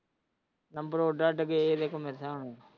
number ਉਡ ਅੱਡ ਗਿਆ